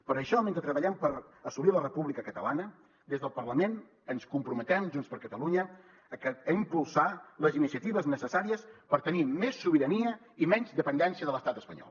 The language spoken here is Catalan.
per això mentre treballem per assolir la república catalana des del parlament ens comprometem junts per catalunya a impulsar les iniciatives necessàries per tenir més sobirania i menys dependència de l’estat espanyol